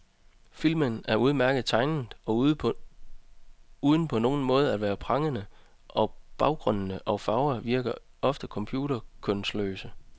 Filmen er udmærket tegnet, uden på nogen måde at være pragende, og baggrunde og farver virker ofte computerkønsløse.